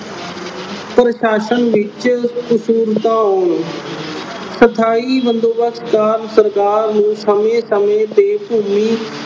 ਪ੍ਰਸ਼ਾਸਨ ਵਿੱਚ ਸਥਾਈ ਬੰਦੋਬਸਤ ਦਾ ਸਰਕਾਰ ਨੂੰ ਸਮੇਂ ਸਮੇਂ ਤੇ ਭੂਮੀ